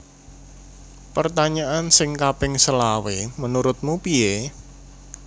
Pertanyaan sing kaping selawe menurutmu pie?